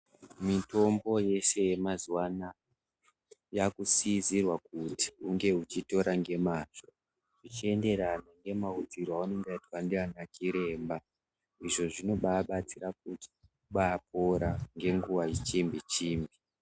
Mitombo yese ye mazuva anaa yaku sisirwa kuti unge uchitora nge mazvo uchi enderana nge maudzirwo aunenge waitwa ndiana chiremba izvo zvinobai batsira kuti tibai pora nge nguva i chimbi chimbi.